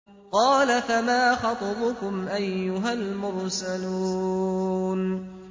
قَالَ فَمَا خَطْبُكُمْ أَيُّهَا الْمُرْسَلُونَ